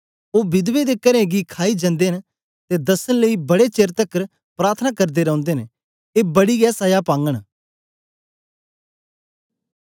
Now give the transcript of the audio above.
ओ विधवें दे करें गी खाई जनदे न ते दसन लेई बडे चेर तकर प्रार्थना करदे रौंदे न ए बडी गै सजा पागन